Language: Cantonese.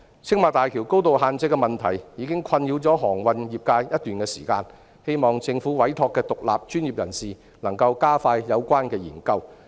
青馬大橋高度限制的問題已困擾航運業界一段時間，我希望政府委託的獨立專業人士能加快有關研究。